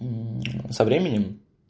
со временем